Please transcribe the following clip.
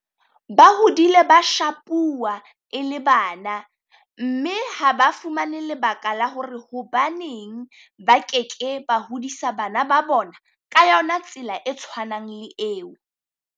Ba hodile ba shapuwa e le bana mme ha ba fumane lebaka la hore hobaneng ba ke ke ba hodisa bana ba bona ka yona tsela e tshwanang le eo.